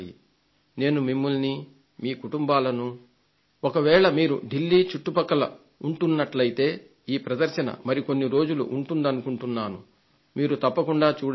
నేను మిమ్మల్ని మీ కుటుంబాలను ఒకవేళ మీరు ఢిల్లీ చుట్టుపక్కల ఉంటున్నట్లయితే ఈ ప్రదర్శన మరికొన్ని రోజులు ఉంటుందనుకుంటున్నాను మీరు తప్పకుండా చూడండి